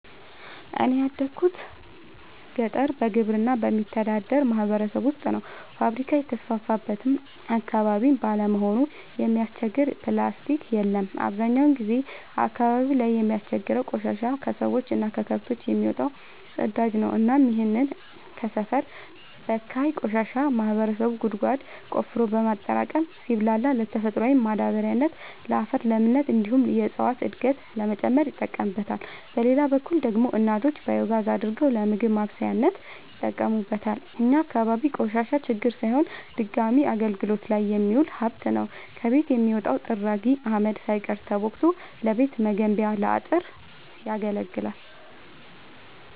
እኔ ያደጉት ገጠር በግብርና በሚተዳደር ማህበረሰብ ውስጥ ነው። ፋብሪካ የተስፋፋበት አካባቢ ባለመሆኑ የሚያስቸግር ፕላስቲ የለም አብዛኛውን ጊዜ አካባቢው ላይ የሚያስቸግረው ቆሻሻ የከሰዎች እና ከከብቶች የሚወጣው ፅዳጅ ነው እናም ይህንን ሰፈር በካይ ቆሻሻ ማህበረሰቡ ጉድጓድ ቆፍሮ በማጠራቀም ሲብላላ ለተፈጥሯዊ ማዳበሪያነት ለአፈር ለምነት እንዲሁም የእፀዋትን እድገት ለመጨመር ይጠቀምበታል። በሌላ በኩል ደግሞ እናቶች ባዮጋዝ አድርገው ለምግብ ማብሰያነት ይጠቀሙበታል። እኛ አካባቢ ቆሻሻ ችግር ሳይሆን ድጋሚ አገልግት ላይ የሚውል ሀብት ነው። ከቤት የሚወጣው ጥራጊ አመድ ሳይቀር ተቦክቶ ለቤት መገንቢያ ለአጥር ያገለግላል።